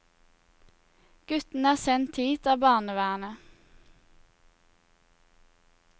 Guttene er sendt hit av barnevernet.